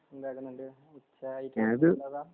എന്താകുന്നുണ്ട് ഉച്ച